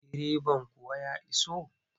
Direban kuwa ya iso?